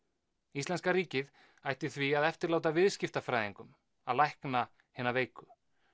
íslenska ríkið ætti því að eftirláta viðskiptafræðingum að lækna hina veiku